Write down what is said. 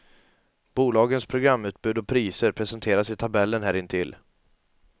Bolagens programutbud och priser presenteras i tabellen här intill.